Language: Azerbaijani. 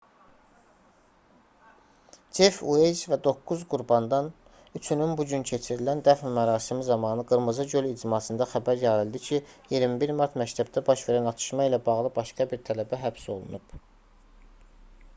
cef ueyz və doqquz qurbandan üçünün bugün keçirilən dəfn mərasimi zamanı qırmızı göl icmasında xəbər yayıldı ki 21 mart məktəbdə baş verən atışma ilə bağlı başqa bir tələbə həbs olunub